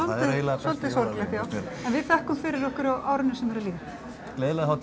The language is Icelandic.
svolítið sorglegt en við þökkum fyrir okkur á árinu sem er að líða gleðilega hátíð